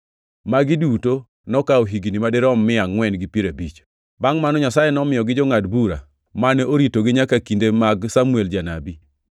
Magi duto nokawo higni madirom mia angʼwen gi piero abich. “Bangʼ mano, Nyasaye nomiyogi jongʼad bura mane oritogi nyaka kinde mag Samuel janabi.